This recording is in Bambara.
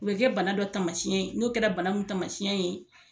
U bɛ kɛ bana dɔ tamasiyɛn ye n'o kɛra bana mun tamasiyɛn ye